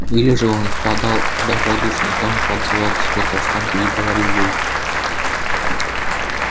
или же он впадал в добродушный тон подзывал к себе каштанку и говорил ей